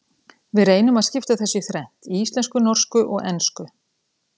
Við reynum að skipta þessu í þrennt, í íslensku, norsku og ensku.